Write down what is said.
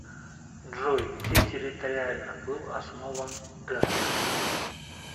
джой где территориально был основан денвер